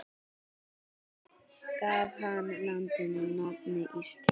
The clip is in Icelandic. Gaf hann landinu nafnið Ísland.